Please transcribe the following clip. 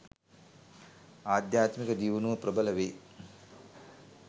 ආධ්‍යාත්මික දියුණුව ප්‍රබල වේ